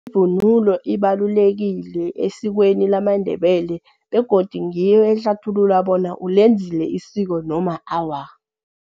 Ivunulo ibalulekile esikweni lama Ndebele begodu ngiyo ehlathulula bona ulenzile isiko noma awa.